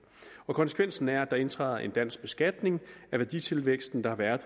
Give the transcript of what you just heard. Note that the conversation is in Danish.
konsekvensen er at der indtræder en dansk beskatning af værditilvæksten der har været